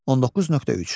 19.3.